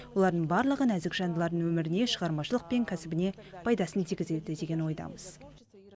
олардың барлығы нәзік жандылардың өміріне шығармашылық пен кәсібіне пайдасын тигізеді деген ойдамыз